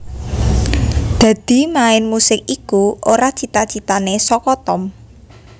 Dadi main musik iku ora cita citane saka Tom